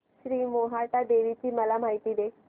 श्री मोहटादेवी ची मला माहिती दे